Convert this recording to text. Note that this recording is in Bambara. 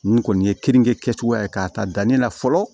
Nin kɔni ye kenige kɛcogoya ye k'a ta danni la fɔlɔ